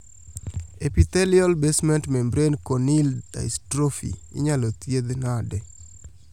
Epithelial basement membrane corneal dystrophy inyalo thiedhi nade